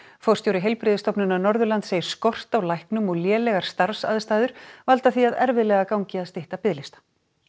forstjóri Heilbrigðisstofnunar Norðurlands segir skort á læknum og lélegar starfaðstæður valda því að erfiðlega gangi að stytta biðlista